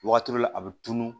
Wagati dɔ la a bɛ tunun